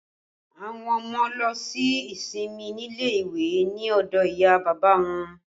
Àwọn ọmọ lọ ṣe ìsinmi nílé ìwé ni ọdọ ìyá bàbá wọn